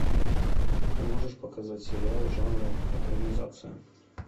ты можешь показать сериал жанра экранизация